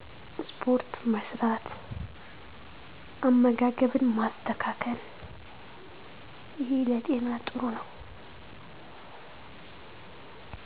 ስፖርት መስራት፣ አመጋገብን ማስተካከል